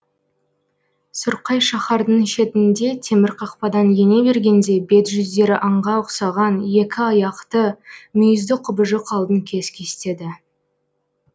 сұрқай шаһардың шетінде темір қақпадан ене бергенде бет жүздері аңға ұқсаған екі аяқты мүйізді құбыжық алдын кес кестеді